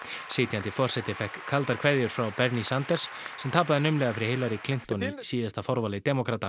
sitjandi forseti fékk kaldar kveðjur frá Bernie Sanders sem tapaði naumlega fyrir Hillary Clinton í síðasta forvali demókrata